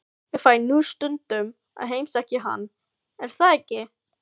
Ég fæ nú stundum að heimsækja hann, er það ekki?